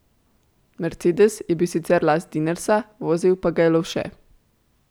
Mercedes je bil sicer last Dinersa, vozil pa ga je Lovše.